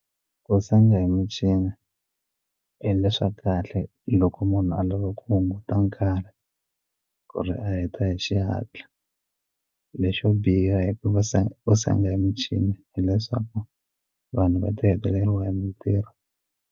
Ku senga hi michini swa kahle loko munhu a lava ku hunguta nkarhi ku ri a heta hi xihatla lexo biha hi ku va senga ku senga hi michini hileswaku vanhu va ta heleriwa hi mintirho.